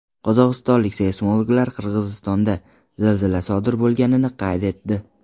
Qozog‘istonlik seysmologlar Qirg‘izistonda zilzila sodir bo‘lganini qayd etdi.